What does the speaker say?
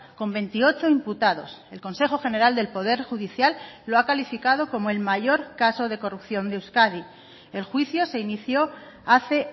con veintiocho imputados el consejo general del poder judicial lo ha calificado como el mayor caso de corrupción de euskadi el juicio se inició hace